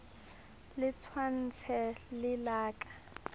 le tshwantshe le la ka